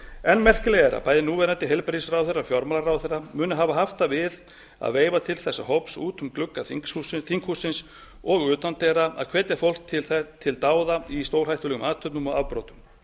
enn merkilegra er að bæði núverandi heilbrigðisráðherra og fjármálaráðherra munu hafa haft það við að veifa til þessa hóps út um glugga þinghússins og utandyra að hvetja fólk þetta til dáða í stórhættulegum athöfnum og afbrotum